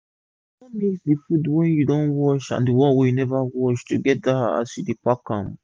no mix d fud wey you don wash and d one wey u never wash togeda as u dey pack am